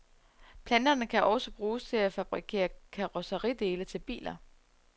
Planterne kan også bruges til at fabrikere karosseridele til biler.